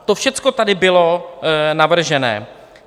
To všechno tady bylo navrženo.